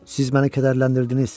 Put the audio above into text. Siz məni kədərləndirdiniz.